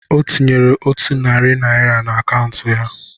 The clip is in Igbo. O tinyere otu narị naira na akaụntụ ya